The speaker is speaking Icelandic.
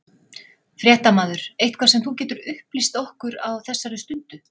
Fréttamaður: Eitthvað sem þú getur upplýst okkur á þessar stundu?